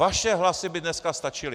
Vaše hlasy by dneska stačily.